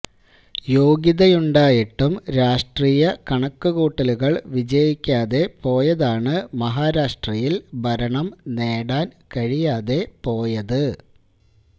യോഗ്യതയുണ്ടായിട്ടും രാഷ്ട്രീയ കണക്കുകൂട്ടലുകള് വിജയിക്കാതെ പോയതാണ് മഹാരാഷ്ട്രയില് ഭരണം നേടാന് കഴിയാതെ പോയത്